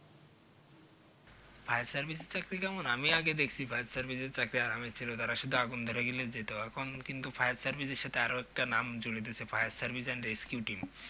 fire service এর চাকরি কেমন আমি আগে দেখেছি fire service এর চাকরি তারা শুধু আগুন শুধু আগুন ধরে গেলেই যেত আর কিন্তু কোনোদিন কিন্তু fire service এর সাথে আরো একটা নাম জড়িয়ে গেছে fire service and rescue team